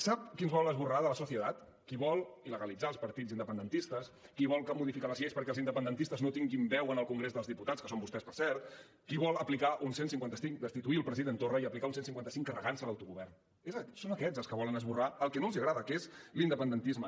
sap qui ens vol esborrar de la sociedad qui vol il·legalitzar els partits independentistes qui vol modificar les lleis perquè els independentistes no tinguin veu al congrés dels diputats que són vostès per cert qui vol aplicar un cent i cinquanta cinc destituir el president torra i aplicar un cent i cinquanta cinc carregant se l’autogovern són aquests els que volen esborrar el que no els agrada que és l’independentisme